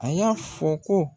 A y'a fɔ ko.